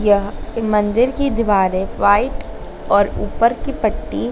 यह मंदिर की दीवारें व्हाइट और ऊपर की पट्टी--